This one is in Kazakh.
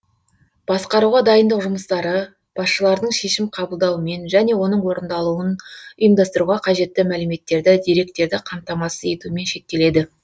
басқаруға дайындық жұмыстары басшылардың шешім қабылдауымен және оның орындалуын ұйымдастыруға қажетті мәліметтерді деректерді қамтамасыз етумен шектеледі